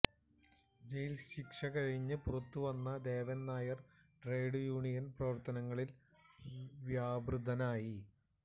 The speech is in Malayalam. ജയിൽശിക്ഷ കഴിഞ്ഞ് പുറത്തുവന്ന ദേവൻ നായർ ട്രേഡ് യൂണിയൻ പ്രവർത്തനങ്ങളിൽ വ്യാപൃതനായി